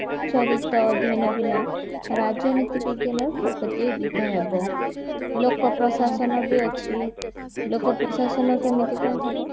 ଚରିତ୍ର ଅଧ୍ୟୟନ ବିନ ରାଜନୀତି ବିଜ୍ଞାନ ପ୍ରଗତିରୁଦ୍ଧ ହେବ ଲୋକ ପ୍ରଶାସନ ବି ଅଛି ଲୋକ ପ୍ରଶାସନ କେମତି କଣ ହେବ